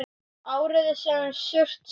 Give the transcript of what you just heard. Árið sem Surtsey gaus.